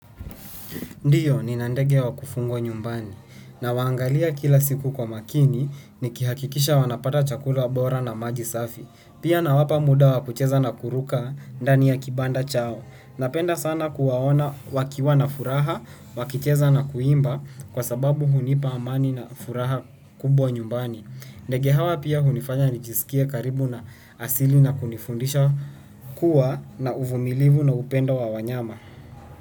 Ndio, nina ndege wa kufungwa nyumbani nawaangalia kila siku kwa makini nikihakikisha wanapata chakula bora na maji safi. Pia nawapa muda wa kucheza na kuruka ndani ya kibanda chao. Napenda sana kuwaona wakiwa na furaha, wakicheza na kuimba kwa sababu hunipa amani na furaha kubwa nyumbani. Ndege hawa pia hunifanya nijisikie karibu na asili na kunifundisha kuwa na uvumilivu na upendo wa wanyama.